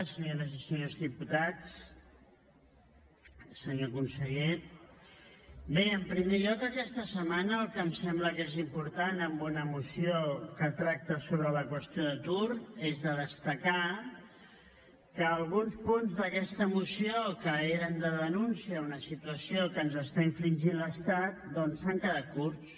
senyores i senyors diputats senyor conseller bé en primer lloc aquesta setmana el que em sembla que és important en una moció que tracta sobre la qüestió d’atur és destacar que alguns punts d’aquesta moció que eren de denúncia a una situació que està infringint l’estat doncs s’han quedat curts